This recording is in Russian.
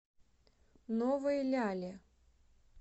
новой ляле